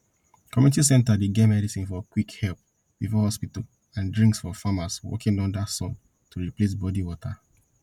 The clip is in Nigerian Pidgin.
community center dey get medicine for quick help before hospital and drinks for farmers working under sun to replace body water